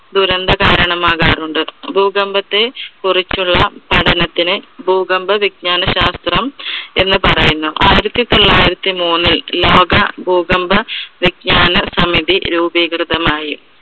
ദുരന്ത കാരണം ആകാറുണ്ട്. ഭൂകമ്പത്തെ കുറിച്ചുള്ള പഠനത്തിന്, ഭൂകമ്പ വിജ്ഞാന ശാസ്ത്രം എന്ന് പറയുന്നു. ആയിരത്തി തൊള്ളായിരത്തി മൂന്നിൽ ലോക ഭൂകമ്പ വിജ്ഞാന സമിതി രൂപീകൃതമായി.